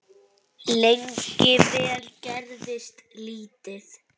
Lengi vel gerðist lítið.